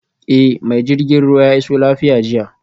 Eh mai jirgin ruwa ya iso lafiya jiya